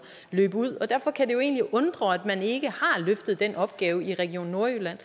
løb ud og derfor kan det jo egentlig undre at man ikke har løftet den opgave i region nordjylland